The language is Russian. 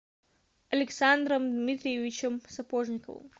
александром дмитриевичем сапожниковым